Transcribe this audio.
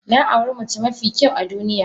Na auri mace mafi kyau a duniya.